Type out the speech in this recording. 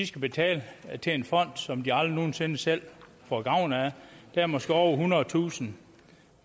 skal betale til en fond som de aldrig nogen sinde selv får gavn af der er måske over ethundredetusind